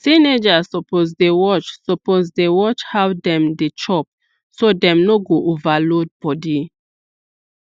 teenagers suppose dey watch suppose dey watch how dem dey chop so dem no go overload body